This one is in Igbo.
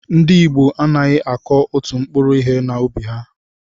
Ndị ìgbo anaghị akụ òtù mkpụrụ ihe na ubi ha